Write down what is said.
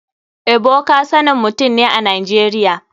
Ebuka sanan mutum ne a nigeria.